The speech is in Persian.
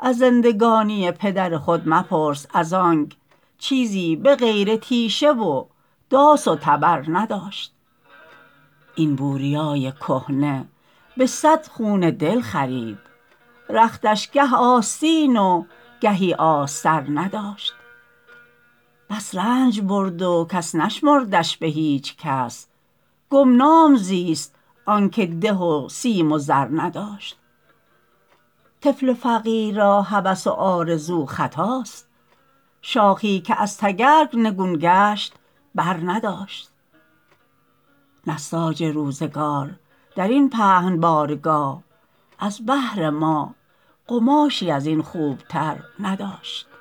از زندگانی پدر خود مپرس از آنک چیزی به غیر تیشه و داس و تبر نداشت این بوریای کهنه به صد خون دل خرید رختش گه آستین و گهی آستر نداشت بس رنج برد و کس نشمردش به هیچکس گمنام زیست آنکه ده و سیم و زر نداشت طفل فقیر را هوس و آرزو خطاست شاخی که از تگرگ نگون گشت بر نداشت نساج روزگار درین پهن بارگاه از بهر ما قماشی ازین خوبتر نداشت